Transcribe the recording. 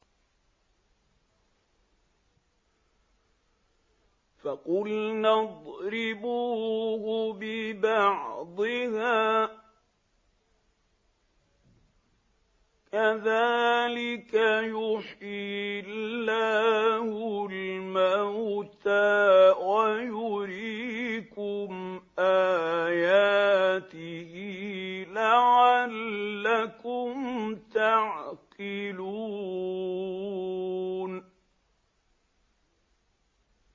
فَقُلْنَا اضْرِبُوهُ بِبَعْضِهَا ۚ كَذَٰلِكَ يُحْيِي اللَّهُ الْمَوْتَىٰ وَيُرِيكُمْ آيَاتِهِ لَعَلَّكُمْ تَعْقِلُونَ